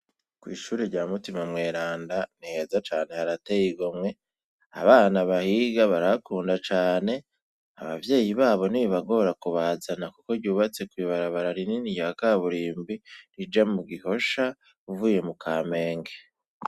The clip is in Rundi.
kw'ishuri rya Mutima mweranda, ni heza cane harateye igomwe, abana bahiga barakunda cane, ababyeyi babo ntibibagora kubazana kuko ryubatse kw'ibarabara rinini rya kaburimbi, rija mu Gihosha, uvuye mu Kamenge.